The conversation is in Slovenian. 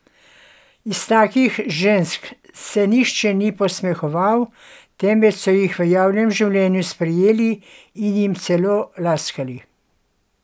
Iz takih žensk se nihče ni posmehoval, temveč so jih v javnem življenju sprejeli, in jim celo laskali.